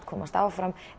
komast áfram